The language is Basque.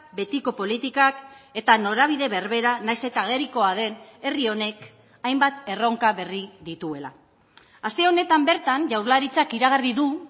betiko politikak eta norabide berbera nahiz eta agerikoa den herri honek hainbat erronka berri dituela aste honetan bertan jaurlaritzak iragarri du